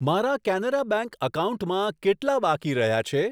મારા કેનેરા બેંક એકાઉન્ટમાં કેટલા બાકી રહ્યા છે?